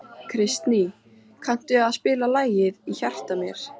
Kristný, kanntu að spila lagið „Í hjarta mér“?